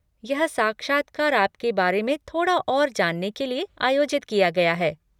यह साक्षात्कार आपके बारे में थोड़ा और जानने के लिए आयोजित किया गया है।